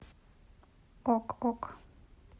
ок ок